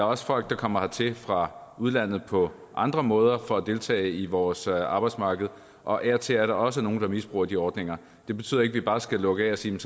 også folk der kommer hertil fra udlandet på andre måder for at deltage i vores arbejdsmarked og af og til er der også nogle der misbruger de ordninger det betyder ikke at vi bare skal lukke af og sige